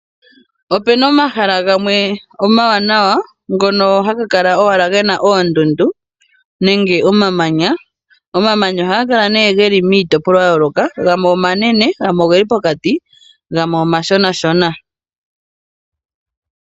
Opena omahala gamwe omawanawa ngono haga kala owala gena owala oondundu nemge omamanya. Omamanya ohaga kala nee geli miitopolwa ya yooloka, gamwe omanene, gamwe ogeli pokati, gamwe omashonashona.